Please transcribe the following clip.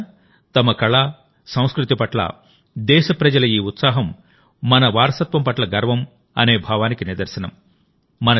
మిత్రులారాతమ కళ సంస్కృతి పట్ల దేశప్రజల ఈ ఉత్సాహం మన వారసత్వం పట్ల గర్వం అనే భావానికి నిదర్శనం